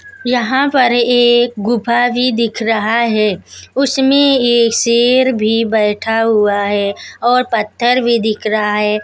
यहां पर एक गुफा भी दिख रहा है उसमें ये शेर भी बैठा हुआ है और पत्थर भी दिख रहा है।